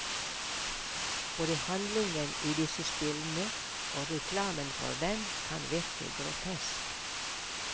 Både handlingen i disse spillene og reklamen for dem kan virke grotesk.